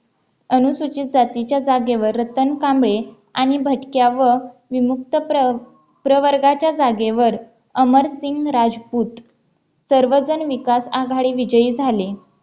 अनुसूचित जातीच्या जागेवर रतन कांबळे आणि भटक्या व विमुक्त प्रवर्गाच्या जागेवर अमरसिंह राजपूत सर्वजण विकास आघाडी विजयी झाले